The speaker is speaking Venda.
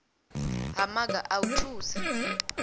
ha maga a u thusa